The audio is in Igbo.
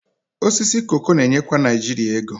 Osisi koko na-enyekwa Naijiria ego